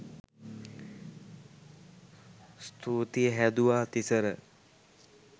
ස්තුතියි හැදුවා තිසර